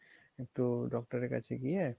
ইকটু doctor এর কাছে গিয়ে